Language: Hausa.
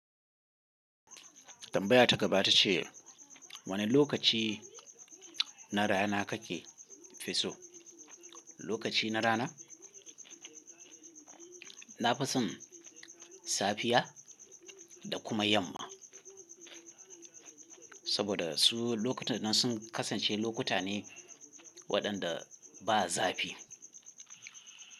Tambaya ta gaba ita ce wane lokaci na rana kake fiso? Lokaci na rana, na fason safiya da kuma yamma. Saboda su lokutan nan sun kasance lokuta ne waɗanda ba zafi.